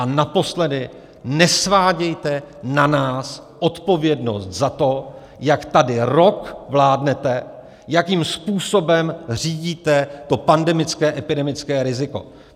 A naposledy, nesvádějte na nás odpovědnost za to, jak tady rok vládnete, jakým způsobem řídíte to pandemické, epidemické riziko.